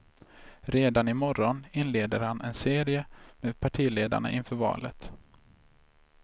Redan i morgon inleder han en serie med partiledarna inför valet.